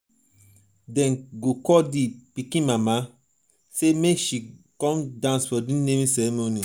dem go call di pikin mama sey make she come dance for di naming naming ceremony.